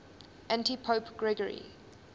antipope gregory